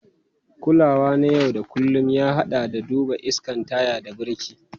Kulawa na yau da kullun, ya haɗa da duba iskan taya da birki.